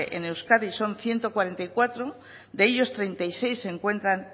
en euskadi son ciento cuarenta y cuatro de ellos treinta y seis se encuentran